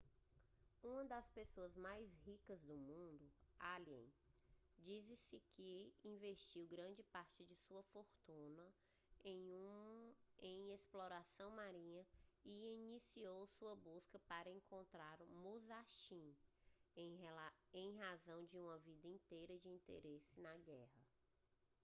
uma das pessoas mais ricas do mundo allen diz-se que investiu grande parte de sua fortuna em exploração marinha e iniciou sua busca para encontrar o musashi em razão de uma vida inteira de interesse na guerra